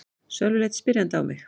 Sölvi leit spyrjandi á mig.